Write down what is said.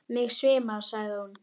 Mig svimar, sagði hún.